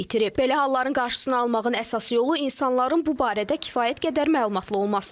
Belə halların qarşısını almağın əsas yolu insanların bu barədə kifayət qədər məlumatlı olmasıdır.